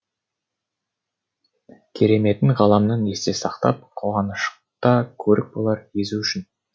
кереметін ғаламның есте сақтап қуанышта көрік болар езу үшін